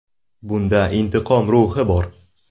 Bunda intiqom ruhi bor.